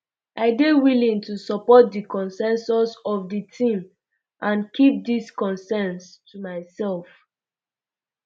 i dey willing to support um di consensus of di team and keep dis concerns to myself